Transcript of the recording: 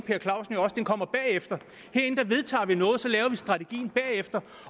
per clausen jo også den kommer bagefter herinde vedtager vi noget og så laver vi strategien bagefter